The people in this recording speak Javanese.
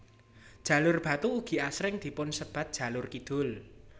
Jalur Batu ugi asring dipun sebat jalur kidul